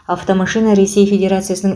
автомашина ресей федерациясының